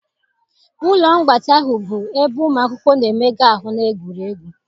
Ụlọ mgbatị ahụ bụ ebe ụmụ akwụkwọ na-emega ahụ na egwuregwu.